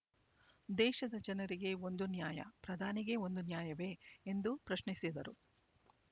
ದೇಶದ ಜನರಿಗೆ ಒಂದು ನ್ಯಾಯ ಪ್ರಧಾನಿಗೆ ಒಂದು ನ್ಯಾಯವೇ ಎಂದು ಪ್ರಶ್ನಿಸಿದರು